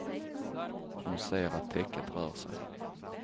Hon ser att täcket rör sig.